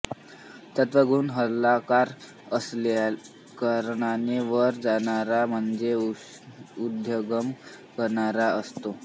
सत्वगुण हलका असल्याकारणाने वर जाणारा म्हणजे उर्ध्वगमन करणारा असतो